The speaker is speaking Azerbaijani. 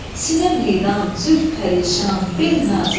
Sinə meydan, zülf pərişan, bel nazik.